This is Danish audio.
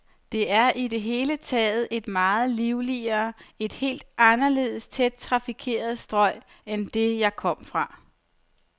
Det er i det hele taget et meget livligere, et helt anderledes tæt trafikeret strøg end det, jeg kom fra.